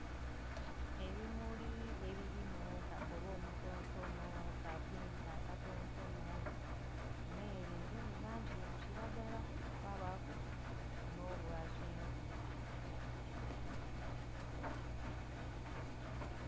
Ebimuli ebirimu kakobe omutontono, ka pinka akatontono nere eriyo langi ya kilagala kwabaku no bwa kyenvu.